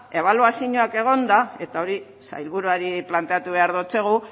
ebaluazioak egonda eta hori sailburuari planteatu behar diogu